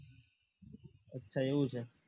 અચ્છા એવું છે